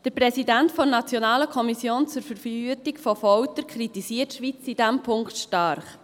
Der Präsident NKVF kritisiert die Schweiz in diesem Punkt stark.